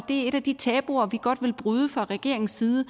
er et af de tabuer vi godt vil bryde fra regeringens side